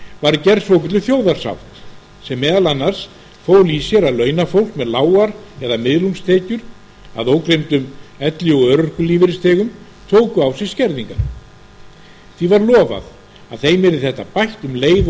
var gerð svokölluð þjóðarsátt sem meðal annars fól í sér að launafólk með lágar eða miðlungstekjur að ógleymdum elli og örorkulífeyrisþegum tóku á sig skerðingar því var lofað að þeim yrði þetta bætt um leið og